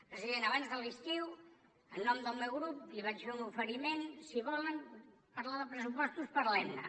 president abans de l’estiu en nom del meu grup li vaig fer un oferiment si volen parlar de pressupostos parlem ne